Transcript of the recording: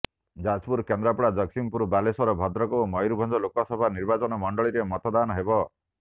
ଯାଜପୁର କେନ୍ଦ୍ରାପଡ଼ା ଜଗତସିଂହପୁର ବାଲେଶ୍ୱର ଭଦ୍ରକ ଓ ମୟୁରଭଞ୍ଜ ଲୋକସଭା ନିର୍ବାଚନ ମଣ୍ଡଳୀରେ ମତାଦନ ହେବ